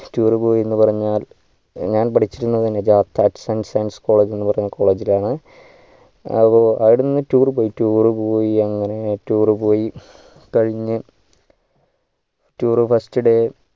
tour പോയി എന്ന് പറഞ്ഞാൽ ഞാൻ പഠിച്ചത് college എന്നു പറഞ്ഞ college ഇലാണ് അപ്പോ അവിടെന്ന് tour പോയി അങ്ങനെ tour പോയി കഴിഞ്ഞു tourfirst day